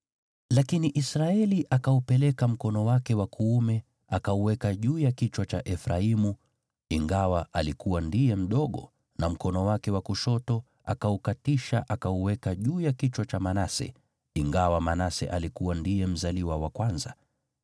Lakini Israeli akaupeleka mkono wake wa kuume, akauweka juu ya kichwa cha Efraimu, ingawa alikuwa ndiye mdogo, na mkono wake wa kushoto akaukatisha, akauweka juu ya kichwa cha Manase, ingawa Manase alikuwa ndiye mzaliwa wa kwanza.